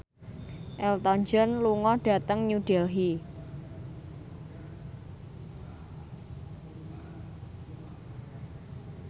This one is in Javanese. Elton John lunga dhateng New Delhi